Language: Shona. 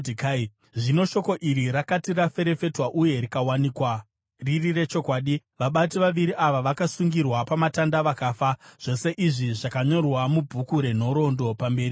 Zvino shoko iri rakati raferefetwa uye rikawanikwa riri rechokwadi, vabati vaviri ava vakasungirwa pamatanda vakafa. Zvose izvi zvakanyorwa mubhuku renhoroondo pamberi pamambo.